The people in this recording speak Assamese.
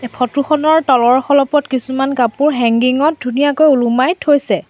ফটো খনৰ তলৰ খলপত কিছুমান কাপোৰ হেংগিং ত ধুনীয়াকৈ ওলোমাই থৈছে।